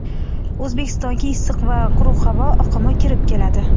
O‘zbekistonga issiq va quruq havo oqimi kirib keladi.